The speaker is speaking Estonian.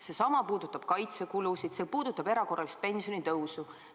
Seesama puudutab kaitsekulusid, see puudutab erakorralist pensionitõusu.